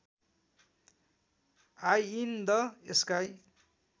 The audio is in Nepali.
I in the sky